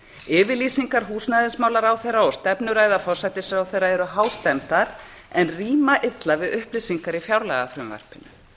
yfirlýsingar húsnæðismálaráðherra og stefnuræða forsætisráðherra eru hástemmdar en rýma illa við upplýsingar í fjárlagafrumvarpinu